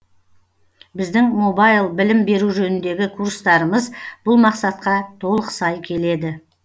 біздің мобайл білім беру жөніндегі курстарымыз бұл мақсатқа толық сай келеді